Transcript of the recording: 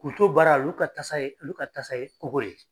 Kun to baara olu ka tasa ye olu ka tasa ye o ko ye